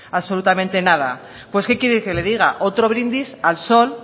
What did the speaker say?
absolutamente nada pues que quiere que le diga otro brindis al sol